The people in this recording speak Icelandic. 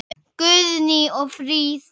Guðný og Fríða.